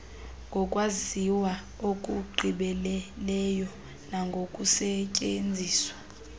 ngokwaziwa okugqibeleleyo nangokusetyenziswa